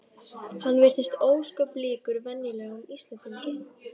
Hann virtist ósköp líkur venjulegum Íslendingi.